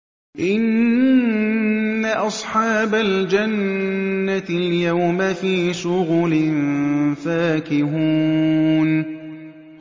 إِنَّ أَصْحَابَ الْجَنَّةِ الْيَوْمَ فِي شُغُلٍ فَاكِهُونَ